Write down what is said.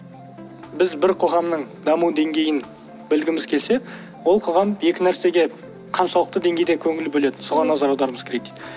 біз бір қоғамның даму деңгейін білгіміз келсе ол қоғам екі нәрсеге қаншалықты деңгейде көңіл бөледі соған назар аударуымыз керек дейді